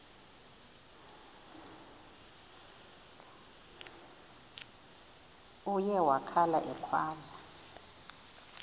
uye wakhala ekhwaza